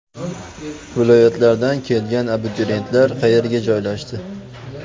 Viloyatlardan kelgan abituriyentlar qayerga joylashdi?